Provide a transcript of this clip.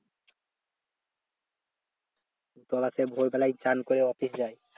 ও তো আবার সেই ভোর বেলায় চান করে office যায়